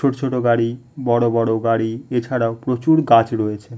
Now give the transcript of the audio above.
ছোট ছোট গাড়ি বড়ো বড়ো গাড়ি এছাড়াও প্রচুর গাছ রয়েছে ।